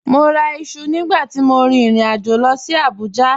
Mọ́ rà ìṣu nígbà tí mọ̀ ríin ìrìn-àjọ̀ lọ sí Abuja